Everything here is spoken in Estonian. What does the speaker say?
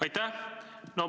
Aitäh!